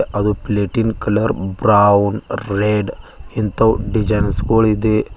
ಅದು platinum colour brown red ಇಂಥವ್ designs ಗುಳ್ ಇದೆ.